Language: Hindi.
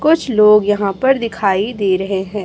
कुछ लोग यहां पर दिखाई दे रहे हैं।